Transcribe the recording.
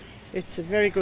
Reykjavík er